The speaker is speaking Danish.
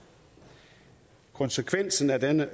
konsekvensen af den